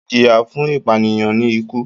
Ijiya fun ipaniyan ni iku.